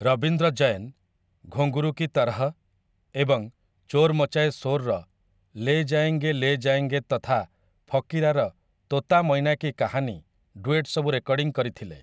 ରବୀନ୍ଦ୍ର ଜୈନ 'ଘୁଙ୍ଗରୁ କି ତରହ' ଏବଂ 'ଚୋର୍‌ ମଚାଏ ଶୋର୍‌'ର 'ଲେ ଜାୟେଙ୍ଗେ ଲେ ଜାୟେଙ୍ଗେ' ତଥା 'ଫକିରା'ର 'ତୋତା ମୈନା କି କାହାନି' ଡୁଏଟ୍ ସବୁ ରେକର୍ଡ଼ିଂ କରିଥିଲେ ।